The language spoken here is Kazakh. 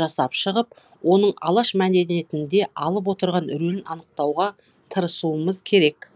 жасап шығып оның алаш мәдениетінде алып отырған рөлін анықтауға тырысуымыз керек